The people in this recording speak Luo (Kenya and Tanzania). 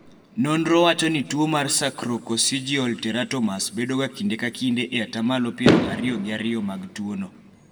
nonro wacho ni tuo mar sacrococcygeal teratomas bedo ga kinde ka kinde e atamalo piero ariyo gi ariyo mag tuono